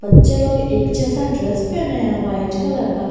बच्चे लोग एक जैसा ड्रेस पहने हैं व्हाइट कलर का।